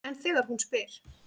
En þegar hún spyr